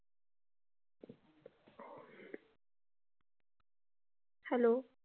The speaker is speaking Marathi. Hello.